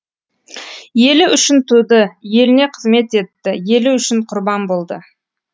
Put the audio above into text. елі үшін туды еліне қызмет етті елі үшін құрбан болды